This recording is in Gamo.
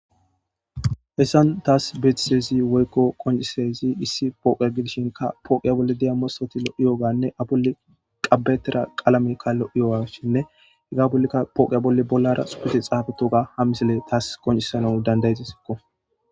hessan taas betisezi woykko qoncisezi issi pooqia gidishinka pooqiya bolle diyammossoti lo7iyooganne abuli qabetera qalamekka lo7iyoasshinne heggaoapooqiya bolle bollara xupete xaafetoga ham misile taas qoncisano dandayedisikko